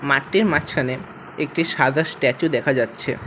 মাঠটির মাঝখানে একটি সাদা স্ট্যাচু দেখা যাচ্ছে।